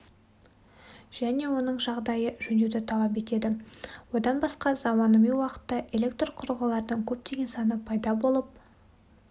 және оның жағдайы жөндеуді талап етеді одан басқа заманауи уақытта электрқұрылғылардың көптеген саны пайда болып